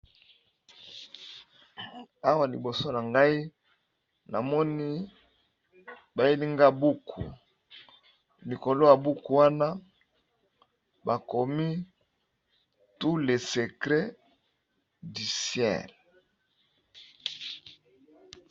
Awa liboso na ngai, bayeli nga buku, pe likolo ya buku yango tomoni bakomi tout les secrets du ciel